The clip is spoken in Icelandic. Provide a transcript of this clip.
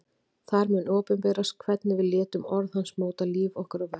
Þar mun opinberast hvernig við létum orð hans móta líf okkar og verk.